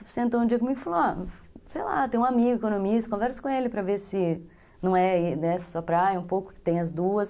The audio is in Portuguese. Ele sentou um dia comigo e falou, olha, sei lá, tem um amigo economista, conversa com ele para ver se não é dessa sua praia, um pouco que tem as duas.